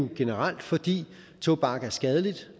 generelt fordi tobak er skadeligt